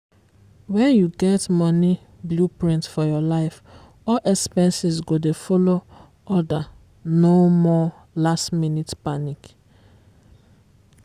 when you get money blueprint for your life all expenses go dey follow orderno more 'last-minute panic.